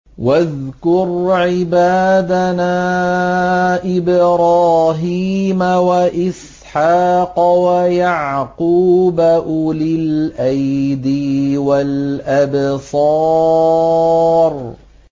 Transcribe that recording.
وَاذْكُرْ عِبَادَنَا إِبْرَاهِيمَ وَإِسْحَاقَ وَيَعْقُوبَ أُولِي الْأَيْدِي وَالْأَبْصَارِ